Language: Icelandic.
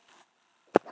Og já, hann á föður.